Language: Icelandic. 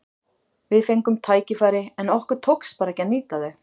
Við fengum tækifæri en okkur tókst bara ekki að nýta þau.